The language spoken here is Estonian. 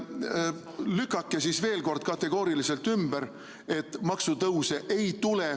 Lükake siis veel kord kategooriliselt ümber,, et maksutõuse ei tule.